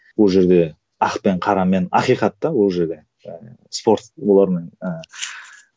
ол жерде ақ пен қара мен ақиқат та ол жерде жаңағы спорт олармен ыыы